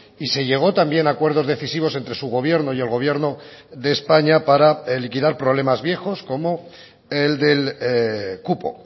y se llegó también a acuerdos decisivos entre su gobierno y el gobierno de españa para liquidar problemas viejos como el del cupo